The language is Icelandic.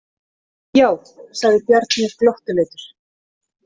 Já, sagði Bjarni glottuleitur.